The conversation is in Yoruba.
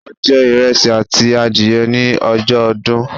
A je ìresì àti adìye ni ojó odún